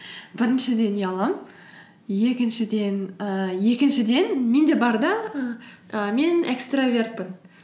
біріншіден ұяламын ііі екіншіден менде бар да ііі мен экстравертпін